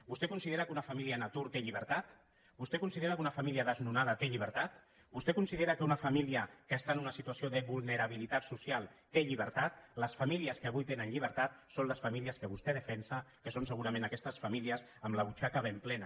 vostè considera que una fa mília en atur té llibertat vostè considera que una fa mília desnonada té llibertat vostè considera que una família que està en una situació de vulnerabilitat social té llibertat les famílies que avui tenen llibertat són les famílies que vostè defensa que són segurament aquestes famílies amb la butxaca ben plena